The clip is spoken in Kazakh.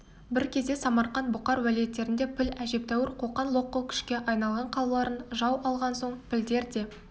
бір кезде самарқант бұқар уәлиеттерінде піл әжептәуір қоқан-лоққы күшке айналған қалаларын жау алған соң пілдер де